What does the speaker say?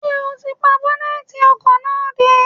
Ṣé o ti pa bọ́nẹ́tì ọkọ̀ náà dé?